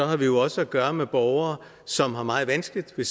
har vi jo også at gøre med borgere som har meget vanskeligt ved